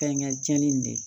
Fɛnkɛ cɛnni in de